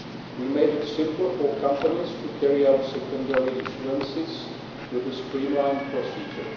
We made it simple for companies to carry out secondary issuances with a streamlined procedure.